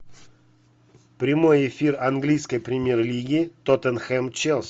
прямой эфир английской премьер лиги тоттенхэм челси